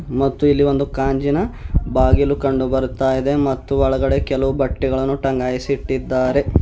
ಮತ್ತು ಇಲ್ಲಿ ಒಂದು ಕಾಂಜಿನ ಬಾಗಿಲು ಕಂಡುಬರುತ್ತಾಯಿದೆ ಮತ್ತು ಒಳಗಡೆ ಕೆಲವು ಬಟ್ಟೆಗಳನ್ನು ಟಂಗಾಯಿಸಿಟ್ಟಿದ್ದಾರೆ.